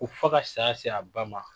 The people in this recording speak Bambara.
Ko fo ka saya se a ba ma